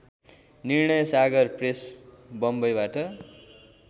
Nirnaysagar press बम्बईबाट